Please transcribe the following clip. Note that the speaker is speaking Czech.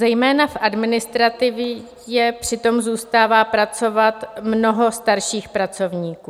Zejména v administrativě přitom zůstává pracovat mnoho starších pracovníků.